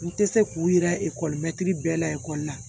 N tɛ se k'u yira ekɔli bɛɛ la ekɔli la